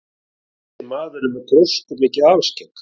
Þessi maður er með gróskumikið alskegg.